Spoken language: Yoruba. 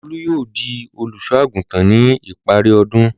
Olú yóò di olùṣọ́-àgùntàn ní ipari ọdún.